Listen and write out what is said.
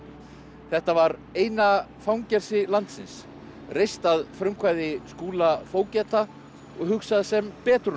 þetta var eina fangelsi landsins reist að frumkvæði Skúla fógeta og hugsað sem betrunarhús